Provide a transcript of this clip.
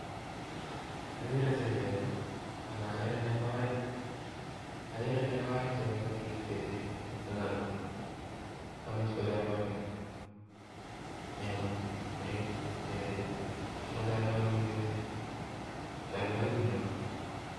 Agere set AK agere negoo aeek chemeche koriep. negoo aek machalwagin set chalwagik negoo